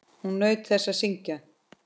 Hún naut þess að syngja.